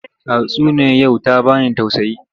Tatsuniyar yau ta ba ni tauaayi.